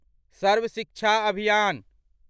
सर्व शिक्षा अभियान